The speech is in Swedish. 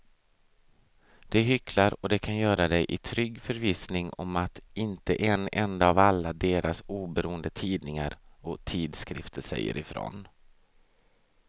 De hycklar och de kan göra det i trygg förvissning om att inte en enda av alla deras oberoende tidningar och tidskrifter säger ifrån.